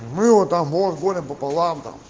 вывод омон горем пополам